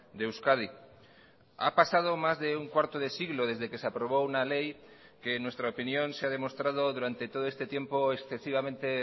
de euskadi ha pasado más de un cuarto de siglo desde que se aprobó una ley que en nuestra opinión se ha demostrado durante todo este tiempo excesivamente